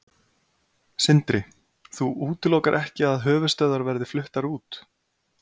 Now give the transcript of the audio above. Sindri: Þú útilokar ekki að höfuðstöðvar verði fluttar út?